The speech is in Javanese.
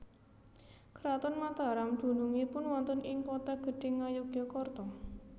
Kraton Mataram dunungipun wonten ing Kota Gedhe Ngayogyakarta